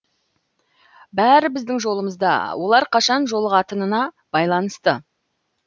бәрі біздің жолымызда олар қашан жолығатынына байланысты